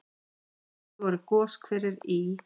Fyrst voru goshverir í